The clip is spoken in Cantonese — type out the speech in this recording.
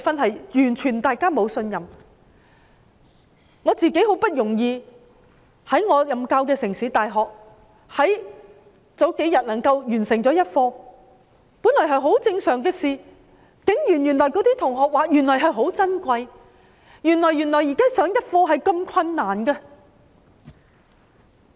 數天前，我很不容易在我任教的城市大學完成了一課，這本來是一件很正常的事情，但同學竟然說是很珍貴，原來現在能夠上一課是如此困難。